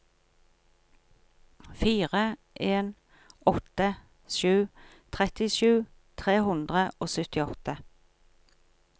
fire en åtte sju trettisju tre hundre og syttiåtte